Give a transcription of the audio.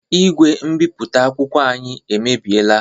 Igwe mbipụta akwụkwọ anyị emebiela.